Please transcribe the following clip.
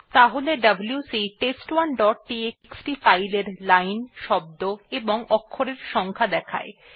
তাহলে WC test one dot TXT file এর line শব্দ এবং অক্ষরের সংখ্যা দেখাবে